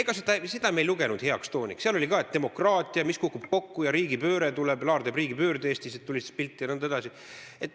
Ega me ei lugenud seda heaks tooniks, seal oli ka öeldud, et demokraatia kukub kokku ja riigipööre tuleb, Laar teeb riigipöörde Eestis, et tulistas pilti jne.